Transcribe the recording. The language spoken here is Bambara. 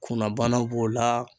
Kunnabana b'o la